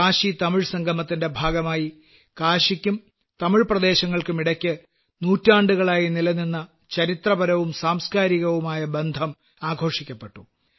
കാശിതമിഴ് സംഗമത്തിന്റെ ഭാഗമായി കാശിക്കും തമിഴ്പ്രദേശങ്ങൾക്കുമിടയ്ക്ക് നൂറ്റാണ്ടുകളായി നിലനിന്ന ചരിത്രപരവും സാംസ്ക്കാരികവുമായ ബന്ധം ആഘോഷിക്കപ്പെട്ടു